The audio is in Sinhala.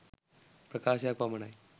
ප්‍රකාශයක් පමණ යි.